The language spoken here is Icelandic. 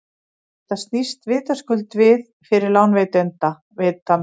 þetta snýst vitaskuld við fyrir lánveitanda